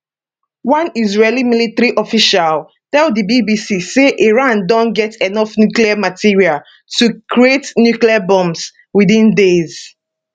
one israeli military official tell di bbc say iran don get enough nuclear material to create nuclear bombs within days